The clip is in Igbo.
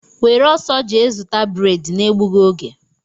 Were ọsọ jee zụta breedi na-egbughi ógè!!!!!